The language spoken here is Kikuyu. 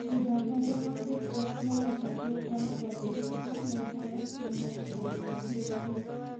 Ũthathaiya wa Gĩkristiano kaingĩ ũkoragwo na nyĩmbo, mahoya, na morutani ma Bibiria.